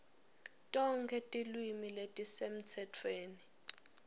tonkhe tilwimi letisemtsetfweni